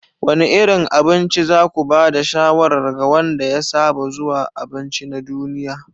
Wane irin abinci za ku ba da shawarar ga wanda ya saba zuwa abinci na duniya?